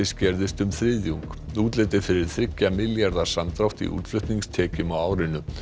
skerðist um þriðjung útlit er fyrir þriggja milljarða samdrátt í útflutningstekjum á árinu